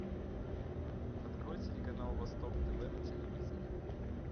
открой телеканал восток тв на телевизоре